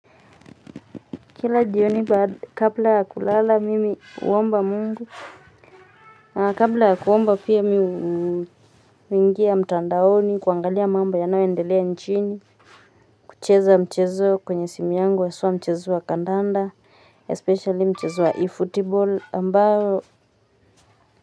Kila jioni baada kabla ya kulala mimi huomba Mungu. Na kabla ya kuomba pia mi huingia mtandaoni kuangalia mambo yanayoendelea nchini. Kucheza mchezo kwenye simu yangu haswa mchezo wa kandanda especially mchezo wa eFootball ambayo.